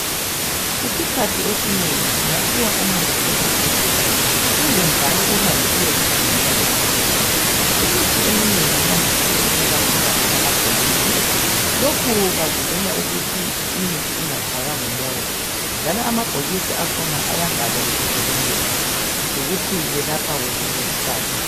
Isikhathi esinengi ungaphiwa umuthi esibhedlela kumbe njalo uhambe uyezithengela ekhemisi. Imithi eminengi yandise ukuba phakathi kwamabhokisi lokhu bavikela ukuthi imithi ingatshaywa ngumoya. Njalo amabhokisi akhona ayabhalwa ibizo lomuthi lokuthi welapha wuphi umkhuhlane.